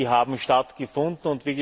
Die haben stattgefunden.